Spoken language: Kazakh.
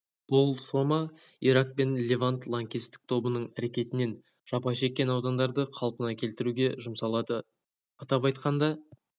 бұл сома ирак пен левант лаңкестік тобының әрекетінен жапа шеккен аудандарды қалпына келтіруге жұмсалады атап айтқанда